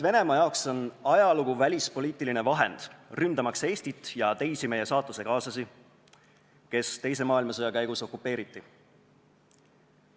Venemaa jaoks on ajalugu välispoliitiline vahend, ründamaks Eestit ja meie saatusekaaslasi, kes teise maailmasõja käigus okupeeriti.